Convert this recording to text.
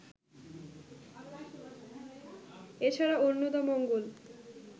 এছাড়া অন্নদামঙ্গল